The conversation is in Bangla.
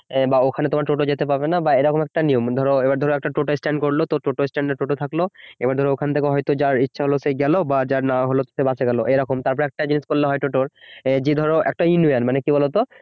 বা ওখানে টোটো যেতে পারবে না বা এরকম একটা নিয়ম ধরো একটা টোটা স্ট্যান্ড করলো তো টোটো স্ট্যান্ড এ টোটো থাকলো এবার ওখান থেকে হয়তো যার ইচ্ছা হল সে গেল বা যার না হলে তো সে বাসে গেল এই রকম তারপর একটা জিনিস করলে হয় টোটোর যে ধরো একটা কি বলতো